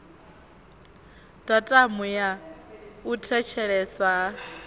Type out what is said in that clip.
datumu ya u thetsheleswa ha